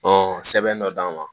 sɛbɛn dɔ d'an ma